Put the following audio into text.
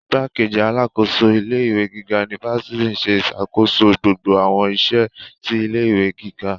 Igbákejì alákòóso ilé ìwé gíga unifásitì nṣe iṣakoso gbogbo awọn iṣẹ ti ilé ìwé gíga